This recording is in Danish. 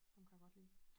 Ham kan jeg godt lide